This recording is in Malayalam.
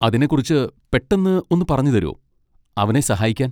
അതിനെക്കുറിച്ച് പെട്ടെന്ന് ഒന്ന് പറഞ്ഞുതരോ, അവനെ സഹായിക്കാൻ?